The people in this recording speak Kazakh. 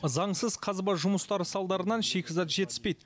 заңсыз қазба жұмыстары салдарынан шикізат жетіспейді